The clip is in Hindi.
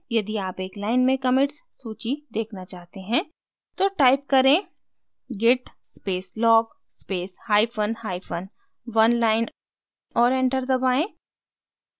यदि आप एक line में commits सूची देखना चाहते हैं तो type करें git space log space hyphen hyphen oneline और enter दबाएँ